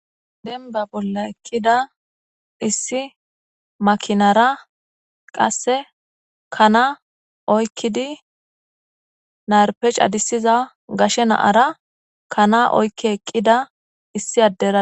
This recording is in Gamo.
Dembba bolla eqqida issi makinara qasse kana oykkidi narppe cadissiza gashe na7ara kana oykki eqqida issi addera.